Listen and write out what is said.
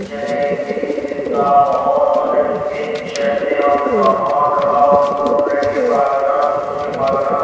जलेबी पिस्ता बहोत सारे ये शेल्फ में यहां पे समान रखा ऊपर ब्रेड के पैकेटा टोस्ट के पैकेटा --